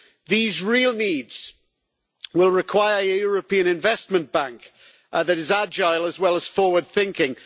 These real needs will require a European Investment Bank that is agile as well as forward thinking.